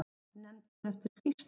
Nefnd hér eftir: Skýrsla.